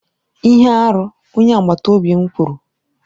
Ihe arụ, onye agbata obi m kwuru.